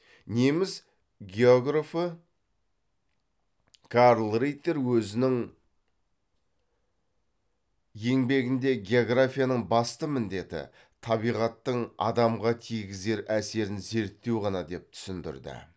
неміс географы карл риттер өзінің еңбегінде географияның басты міндеті табиғаттың адамға тигізер әсерін зерттеу ғана деп түсіндірді